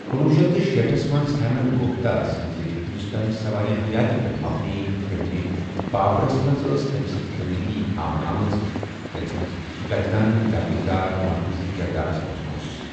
کُنوُہ شیٚتھ تہٕ شیٖٹھس منز ہیمین گُپتا سٕنزِ ہندوستٲنۍ سوانہِ حیٲتی پیٚٹھ مبنی فِلمہِ بابرس منز ٲس تٔمۍ سٕنز زِندگی ہاونہٕ آمٕژ، یتھ منز گجانن جاگیردار مرکزی کِردارس منز اوس۔